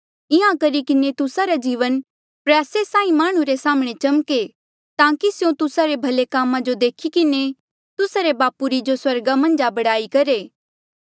इंहां करी किन्हें तुस्सा रा जीवन प्रयासा साहीं ऐें माह्णुं रे साम्हणें चम्के ताकि स्यों तुस्सा रे भले कामा जो देखी किन्हें तुस्सा रे बापू री जो स्वर्गा मन्झ आ बड़ाई करहे